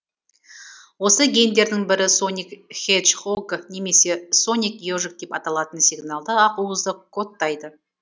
осы гендердің бірі соник хеджхог немесе соник ежик деп аталатын сигналды ақуызды кодтайды